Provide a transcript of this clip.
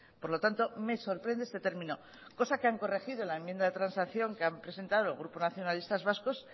por lo tanto me sorprende este término cosa que han corregido en la enmienda de transacción que han presentado el grupo nacionalistas vascos